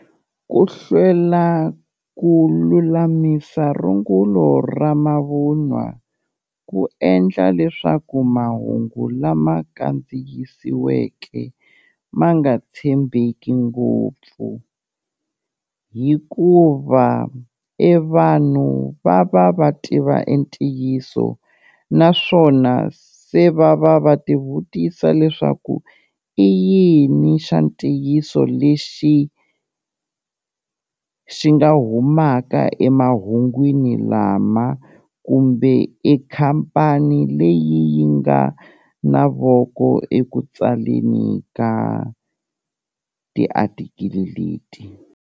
Ku hlwela ku lulamisa rungulo ra mavunwa, ku endla leswaku mahungu lama kandziyisiweke ma nga tshembeki ngopfu, hikuva e vanhu va va va tiva e ntiyiso naswona se va va va ti vutisa leswaku i yini xa ntiyiso lexi xi nga humaka emahungwini lama, kumbe e khampani leyi yi nga na voko eku tsaleni ka tiatikili leti.